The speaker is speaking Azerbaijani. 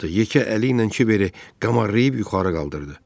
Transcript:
Yekə əli ilə Kiberi qamarlayıb yuxarı qaldırdı.